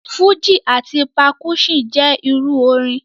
Fúji ati percussion jẹ iru orin.